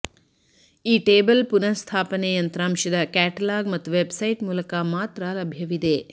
ಈ ಟೇಬಲ್ ಪುನಃಸ್ಥಾಪನೆ ಯಂತ್ರಾಂಶದ ಕ್ಯಾಟಲಾಗ್ ಮತ್ತು ವೆಬ್ಸೈಟ್ ಮೂಲಕ ಮಾತ್ರ ಲಭ್ಯವಿದೆ